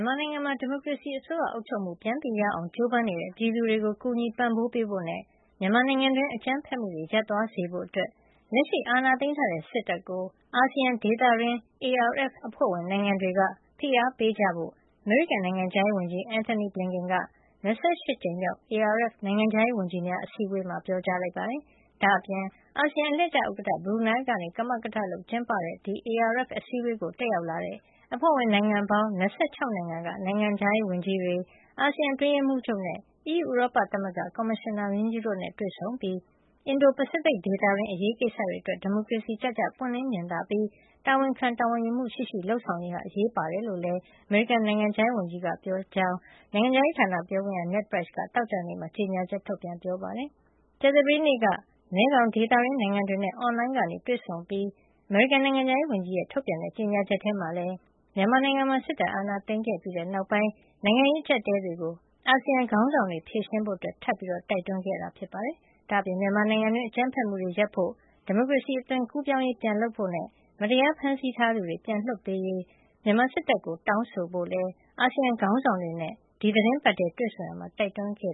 န်မာနိုင်ငံမှာ ဒီမိုကရေစီအစိုးရအုပ်ချုပ်မှု ပြန်ရအောင် ကြိုးပမ်းနေတဲ့ ပြည်သူတွေကို ကူညီပံ့ပိုးပေးဖို့နဲ့ မြန်မာနိုင်ငံတွင်း အကြမ်းဖက်မှုတွေ ရပ်သွားစေဖို့အတွက် လက်ရှိအာဏာသိမ်းထားတဲ့စစ်တပ်ကို အာဆီယံဒေသတွင်း ARF (ASEAN Regional Forum) အဖွဲ့ဝင် နိုင်ငံတွေက ဖိအားပေးကြဖို့ အမေရိကန်နိုင်ငံခြားရေးဝန်ကြီး Antony Blinken က ၂၈ ကြိမ်မြောက် ARF နိုင်ငံခြားရေးဝန်ကြီးများ အစည်းအဝေးမှာ ပြောကြားလိုက်ပါတယ်။ ဒါ့အပြင် အာဆီယံအလှည့်ကျ ဥက္ကဌ ဘရူနိုင်းလ် က ကမကထလုပ်ကျင်းပတဲ့ ARF အစည်းဝေးကိုတက်ရောက်လာတဲ့ အဖွဲ့ဝင် နိုင်ငံပေါင်း ၂၆ နိုင်ငံက နိုင်ငံခြားရေးဝန်ကြီးတွေ၊ အာဆီယံအတွင်းရေးမှုးချုပ်နဲ့ အီးယူဥရောပသမဂ္ဂ ကော်မရှင်နာမင်းကြီးတို့နဲ့ တွေ့ဆုံပြီး အင်ဒို ပစိဖိတ်ဒေသတွင်း အရေးကိစ္စတွေ အတွက် ဒီမိုကရေစီကျကျ ပွင့်လင်းမြင်သာပြီး တာဝန်ခံတာဝန်ယူမှု ရှိရှိ လုပ်ဆောင်ရေးဟာ အရေးပါကြောင်းလည်း အမေရိကန်နိုင်ငံခြားရေး ဝန်ကြီးက ပြောကြားခဲ့တယ်လို့ နိုင်ငံခြားရေးဌာန ပြောခွင့်ရ Ned Price က သောကြာနေ့မှာ ကြေညာချက် ထုတ်ပြန်ပြောဆိုပါတယ်။ ကြာသပတေးနေ့က မဲခေါင်ဒေသတွင်းနိုင်ငံတွေနဲ့ အွန်လိုင်းကနေ တွေ့ဆုံအပြီး အမေရိကန် နိုင်ငံခြားရေးဝန်ကြီးရဲ့ ထုတ်ပြန်တဲ့ ကြေညာချက်ထဲမှာလည်း မြန်မာနိုင်ငံမှာ စစ်အာဏာသိမ်းပြီးနောက်ပိုင်း နိုင်ငံရေး အကျပ်အတည်းတွေကို အာဆီယံ ခေါင်းဆောင်တွေ ဖြေရှင်းဖို့ ထပ်မံတိုက်တွန်းခဲ့တာပါ။ ဒါ့အပြင် မြန်မာနိုင်ငံတွင်း အကြမ်းဖက်မှုတွေရပ်ဖို့၊ ဒီမိုကရေစီ အသွင်ကူးပြောင်းရေး ပြန်လုပ်ဖို့နဲ့ မတရားဖမ်းဆီးထားသူတွေ ပြန်လွှတ်ပေးရေး မြန်မာစစ်တပ်ကို တောင်းဆို ဖို့လည်း အာဆီယံခေါင်းဆောင်တွေနဲ့ ဒီသီတင်းပတ်ထဲ တွေ့ဆုံရာမှာ တိုက်တွန်းခဲ့